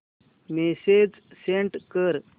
message send कर